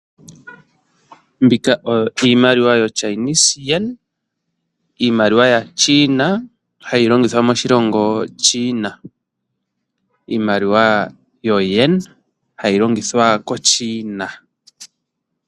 Mbika oyo iimaliwa yo Chinese Yen iimaliwa yaaChina, hayi longithwa moshilongo China. Iimaliwa yo Yen hayi longithwa ko China.